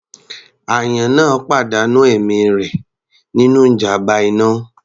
Àyàn náà pàdánù ẹ̀mí rẹ̀ nínú ìjàmbá iná.